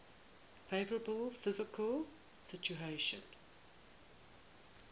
favourable fiscal situation